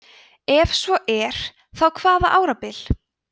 ef svo er þá hvaða árabil